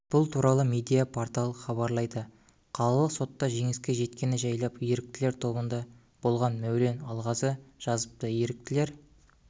бұл туралы медиа-порталы хабарлайды қалалық сотта жеңіске жеткені жайлы еріктілер тобында болған мәулен алғазы жазыпты еріктілер